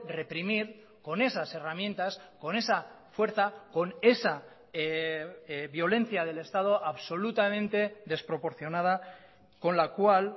reprimir con esas herramientas con esa fuerza con esa violencia del estado absolutamente desproporcionada con la cual